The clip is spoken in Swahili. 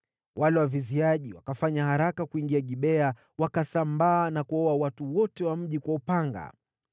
Wale waviziaji wakafanya haraka kuingia Gibea, wakasambaa na kuwaua watu wote wa mji kwa upanga.